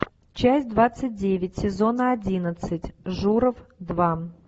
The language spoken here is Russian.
часть двадцать девять сезон одиннадцать журов два